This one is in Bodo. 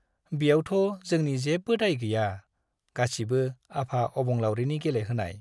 ब्यावथ' जोंनि जेबो दाय गैया , गासिबो आफा अबंलाउरिनि गेले होनाय ।